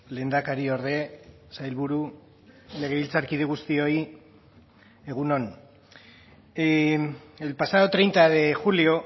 lehendakariorde sailburu legebiltzarkide guztioi egun on el pasado treinta de julio